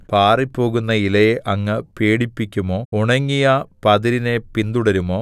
പാറിപ്പോകുന്ന ഇലയെ അങ്ങ് പേടിപ്പിക്കുമോ ഉണങ്ങിയ പതിരിനെ പിന്തുടരുമോ